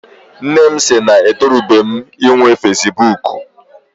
Nne m sị na etorubeghi m inwe fesibuuku.